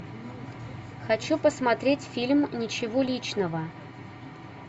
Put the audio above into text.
хочу посмотреть фильм ничего личного